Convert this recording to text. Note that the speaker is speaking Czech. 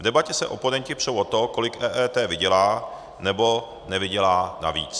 V debatě se oponenti přou o to, kolik EET vydělá nebo nevydělá navíc.